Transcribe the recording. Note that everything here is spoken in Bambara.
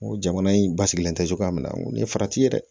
N ko jamana in basigilen tɛ cogoya min na n ko nin ye farati ye dɛ